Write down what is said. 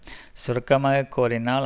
சுருக்கமாக கூறினால்